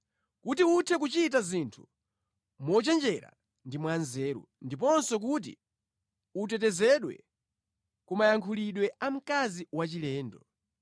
kuti uthe kuchita zinthu mochenjera ndi mwanzeru ndiponso kuti utetezedwe ku mayankhulidwe a mkazi wachilendo.